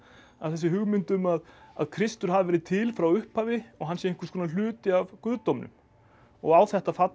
þessi hugmynd um að að Kristur hafi verið til frá upphafi og hann sé einhvers konar hluti af guðdómnum og á þetta fallast